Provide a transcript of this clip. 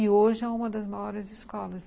E hoje é uma das maiores escolas.